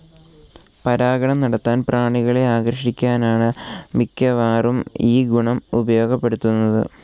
പരാഗണം നടത്താൻ പ്രാണികളെ ആകർഷിക്കാനാണ് മിക്കവാറും ഈ ഗുണം ഉപയോഗപ്പെടുത്തുന്നത്.